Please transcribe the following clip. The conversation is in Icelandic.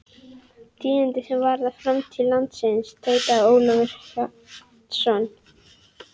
Tíðindi sem varða framtíð landsins, tautaði Ólafur Hjaltason.